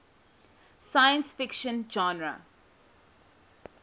science fiction genre